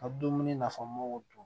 Ka dumuni nafamaw dun